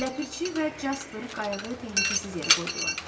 Ləpirçi və Caper qayığı təhlükəsiz yerə qoydular.